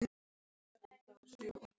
Er þetta búið núna?